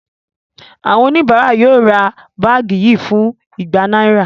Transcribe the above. Àwọn oníbàárà yóò ra báàgì yìí fún igba náírà